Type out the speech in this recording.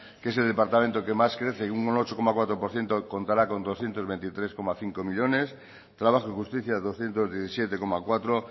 que es el departamento que más crece un ocho coma cuatro por ciento contará con doscientos veintitrés coma cinco millónes trabajo y justicia doscientos diecisiete coma cuatro